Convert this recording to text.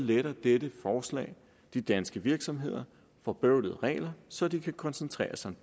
letter dette forslag de danske virksomheder for bøvl og regler så de kan koncentrere sig